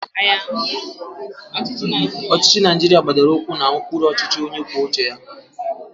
Ọchịchị Naijiria gbadoro ụkwụ na ụkpụrụ ọchịchị onye kwuo uche ya.